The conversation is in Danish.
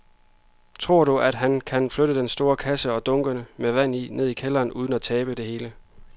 Tror du, at han kan flytte den store kasse og dunkene med vand ned i kælderen uden at tabe det hele?